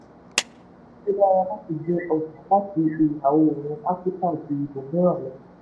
ó lérò: ó dára gbé ọjà láti ìlà-oòrùn áfíríkà ju ibòmíràn lọ.